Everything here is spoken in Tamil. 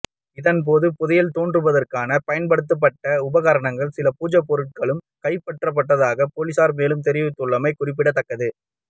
இதன்போது புதையல் தோண்டுவதற்காக பயன்படுத்தப்பட்ட உபகரணங்களும் சில பூஜைப்பொருட்களும் கைப்பற்றப்பட்டதாக பொலிஸார் மேலும் தெரிவித்துள்ளமை குறிப்பிடத்தக்கது